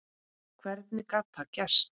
Hvernig gat það gerst?